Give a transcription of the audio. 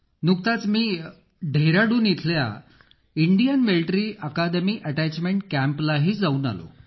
नुकताच मी डेहराडून येथील भारतीय सैन्य अकॅदमी अटॅचमेंट कॅम्पला जाऊन आलो